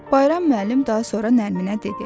Bayram müəllim daha sonra Nərminə dedi: